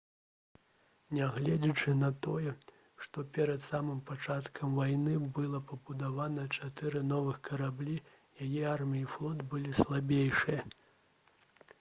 нягледзячы на тое што перад самым пачаткам вайны было пабудавана чатыры новыя караблі яе армія і флот былі слабейшыя